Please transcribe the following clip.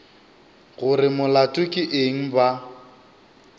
gore molato ke eng ba